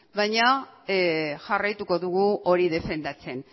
baina jarraituko dugu hori defendatzen